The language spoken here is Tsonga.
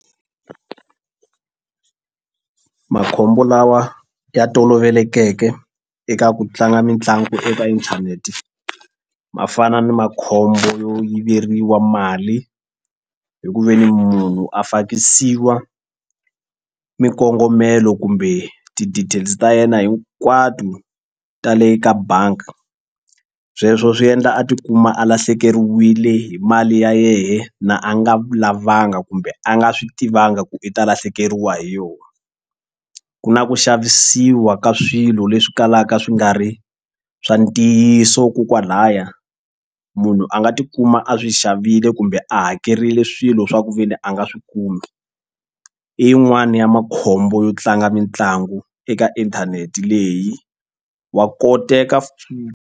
Makhombo lawa ya tolovelekeke eka ku tlanga mitlangu eka inthanete ma fana ni makhombo yo yiveriwa mali hi ku ve ni munhu a fakisiwa mikongomelo kumbe ti-details ta yena hinkwato tale ka bangi sweswo swi endla a tikuma a lahlekeriwile hi mali ya yehe na a nga lavanga kumbe a nga swi tivangi ku i ta lahlekeriwa hi yona. Ku na ku xavisiwa ka swilo leswi kalaka swi nga ri swa ntiyiso ko kwalaya munhu a nga tikuma a swi xavile kumbe a hakerile swilo swa ku ve ni a nga swi kumi i yin'wani ya makhombo yo tlanga mitlangu eka inthanete leyi wa koteka.